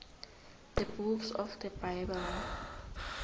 the books of the bible